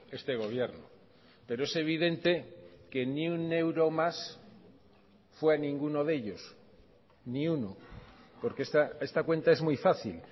este gobierno pero es evidente que ni un euro más fue a ninguno de ellos ni uno porque esta cuenta es muy fácil